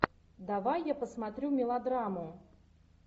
давай я посмотрю мелодраму